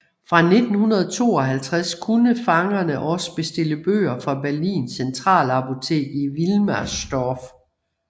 Fra 1952 kunne fangerne også bestille bøger fra Berlins centralbibliotek i Wilmersdorf